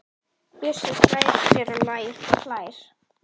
Bjössi slær sér á lær og hlær.